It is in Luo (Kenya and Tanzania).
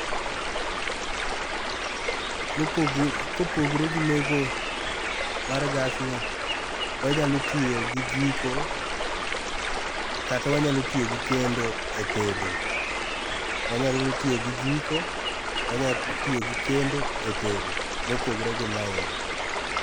mopogre kopogre gi meko mar gas ni wanyalo tiyo gi jiko kata wanyalo tiyo gi kendo e tedo wanyalo tiyo gi jiko wanya tiyo gi kendo e tedo kopogre gi maendi.